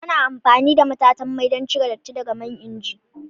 Ana amfani da matatan mai don cire datti daga man inji.